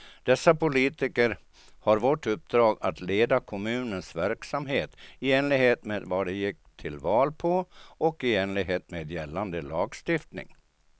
Dessa politiker har vårt uppdrag att leda kommunens verksamhet i enlighet med vad de gick till val på och i enlighet med gällande lagstiftning.